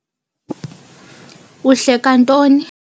Uhleka ntoni?